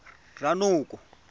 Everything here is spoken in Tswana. ranoko